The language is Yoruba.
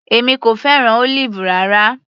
Èmi kò fẹ́ràn Olive rárá.